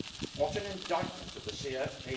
What an indictment of the CFP.